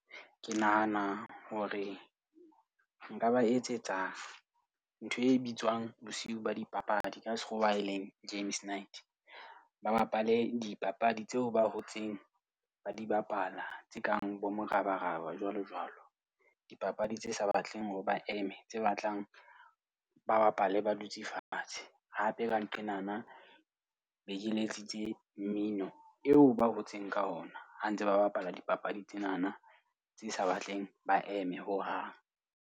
Ke nahana hore nka ba etsetsa ntho e bitswang bosiu ba dipapadi ka Sekgowa, eleng games night. Ba bapale dipapadi tseo ba hotseng ba di bapala tse kang bo morabaraba, jwalo jwalo. Dipapadi tse sa batleng hore ba eme. Tse batlang ba bapale ba dutse fatshe. Hape ka nqenana be ke letsitse mmino eo ba hotseng ka ona ha ntse ba bapala dipapadi tsenana tse sa batleng ba eme hohang.